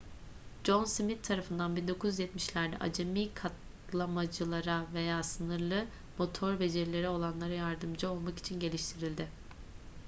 john smith tarafından 1970'lerde acemi katlamacılara veya sınırlı motor becerileri olanlara yardımcı olmak için geliştirildi